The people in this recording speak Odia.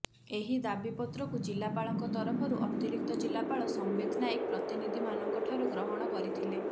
ଏହି ଦାବିପତ୍ରକୁ ଜିଲ୍ଲାପାଳଙ୍କ ତରଫରୁ ଅତିରିକ୍ତ ଜିଲ୍ଲାପାଳ ସମ୍ବିତ୍ ନାୟକ ପ୍ରତିନିଧିମାନଙ୍କ ଠାରୁ ଗ୍ରହଣ କରିଥିଲେ